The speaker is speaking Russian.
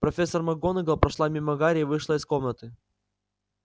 профессор макгонагалл прошла мимо гарри и вышла из комнаты